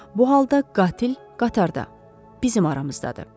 Bu halda qatil qatarda, bizim aramızdadır.